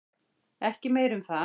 Ekki meir um það.